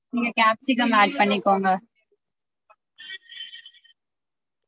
நீங்க capsicum add பண்ணிக்கோங்க